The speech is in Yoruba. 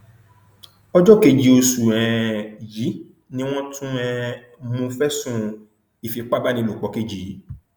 ọjọ keje oṣù um yìí ni wọn tún um un mú fẹsùn ìfipábánilòpọ kejì yìí